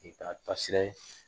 E ba taa sira ye